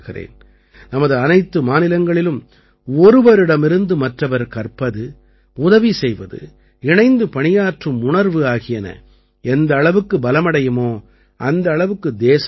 நமது அனைத்து மாநிலங்களிலும் ஒருவரிடமிருந்து மற்றவர் கற்பது உதவி செய்வது இணைந்து பணியாற்றும் உணர்வு ஆகியன எந்த அளவுக்கு பலமடையுமோ அந்த அளவுக்கு தேசம் முன்னேறும்